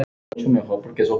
Ég skal trúa því.